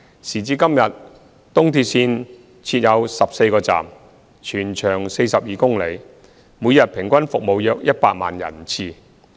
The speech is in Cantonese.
時至今日，東鐵線設14個站，全長約42公里，每日平均服務約100萬人次。